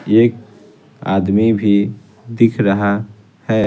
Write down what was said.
एक आदमी भी दिख रहा है।